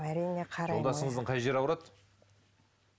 әрине жолдасыңыздың қай жері ауырады